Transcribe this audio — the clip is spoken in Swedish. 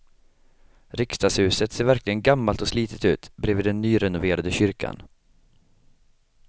Riksdagshuset ser verkligen gammalt och slitet ut bredvid den nyrenoverade kyrkan.